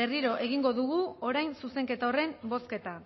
berriro egingo dugu orain zuzenketa horren bozketa